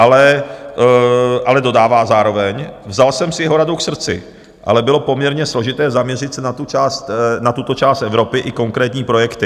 Ale dodává zároveň: "Vzal jsem si jeho radu k srdci, ale bylo poměrně složité zaměřit se na tuto část Evropy i konkrétní projekty."